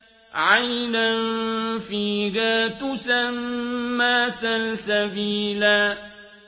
عَيْنًا فِيهَا تُسَمَّىٰ سَلْسَبِيلًا